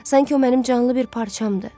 Sanki o mənim canlı bir parçamdır.